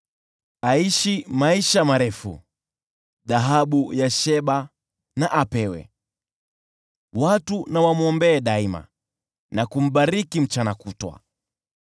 Aishi maisha marefu! Na apewe dhahabu ya Sheba. Watu wamwombee daima na kumbariki mchana kutwa.